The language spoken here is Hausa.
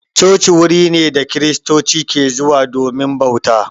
Coci wuri ne da kristoci ke zuwa domin bauta.